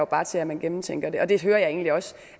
bare til at man gennemtænker det det hører jeg egentlig også